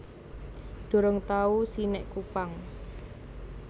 Durung tau si nek Kupang